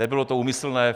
Nebylo to úmyslné.